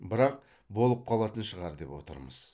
бірақ болып қалатын шығар деп отырмыз